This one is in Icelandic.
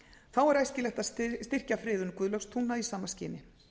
þá er æskilegt að styrkja friðun guðlaugstungna í sama skyni